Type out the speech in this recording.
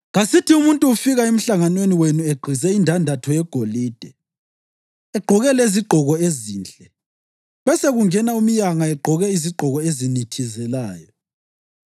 Kasithi umuntu ufika emhlanganweni wenu egqize indandatho yegolide, egqoke lezigqoko ezinhle, besekungena umyanga egqoke izigqoko ezinithizelayo.